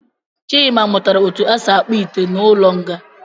Chima mụtara etu esi akpụ ite n’ụlọnga